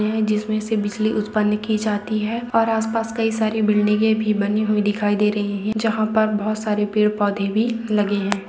जिसमें से बिजली उत्पन्न की जाती है और आसपास कई सारी बिल्डिंगे भी बनी हुई दिखाई दे रही है जहाँ पर बोहत सारे पेड़-पौधे भी लगे हैं।